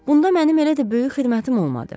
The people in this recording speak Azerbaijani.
Bunda mənim elə də böyük xidmətim olmadı.